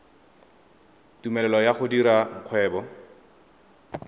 tumelelo ya go dira kgwebo